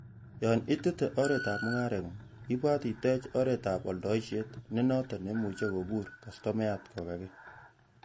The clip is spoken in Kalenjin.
Yon itete oretab mungarengung,,ibwat itech oretab oldoisiet nenoton neimuche kobur kastomayat kokage.